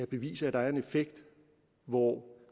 bevise at der er en effekt hvor